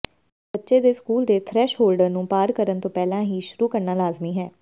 ਬੱਚੇ ਦੇ ਸਕੂਲ ਦੇ ਥ੍ਰੈਸ਼ਹੋਲਡਰ ਨੂੰ ਪਾਰ ਕਰਨ ਤੋਂ ਪਹਿਲਾਂ ਹੀ ਸ਼ੁਰੂ ਕਰਨਾ ਲਾਜ਼ਮੀ ਹੈ